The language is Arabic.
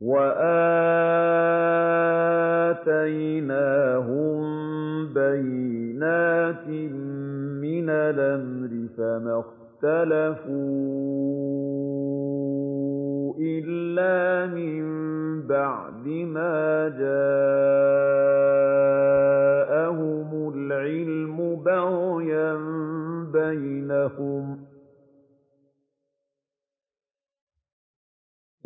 وَآتَيْنَاهُم بَيِّنَاتٍ مِّنَ الْأَمْرِ ۖ فَمَا اخْتَلَفُوا إِلَّا مِن بَعْدِ مَا جَاءَهُمُ الْعِلْمُ بَغْيًا بَيْنَهُمْ ۚ